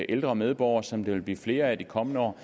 ældre medborgere som der vil blive flere af de kommende år